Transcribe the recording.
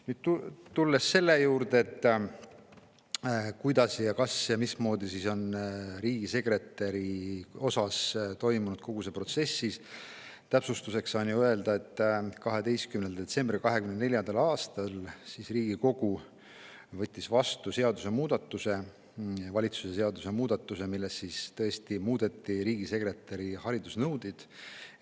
Nüüd, tulles selle juurde, kas ja kuidas on riigisekretäri puhul toimunud kogu see protsess, saan täpsustuseks öelda, et 12. detsembril 2024. aastal võttis Riigikogu vastu valitsuse seadusemuudatuse, millega tõesti muudeti riigisekretäri haridusnõudeid.